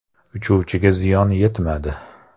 Uchuvchiga ziyon yetmadi.